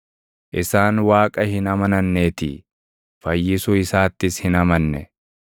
isaan Waaqa hin amananneetii; fayyisuu isaattis hin amanne.